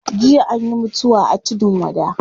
Jiya anyi mutuwa a tudun wada